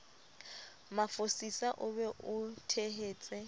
mafosisa o be o tshehetse